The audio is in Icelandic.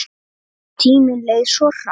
Tíminn leið svo hratt.